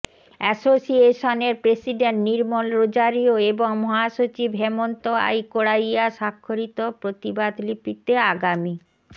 অ্যাসোসিয়েশনের president Nirmal Rozario এবং মহাসচিব হেমন্ত আই কোড়াইয়া স্বাক্ষরিত প্রতিবাদলিপিতে আগামী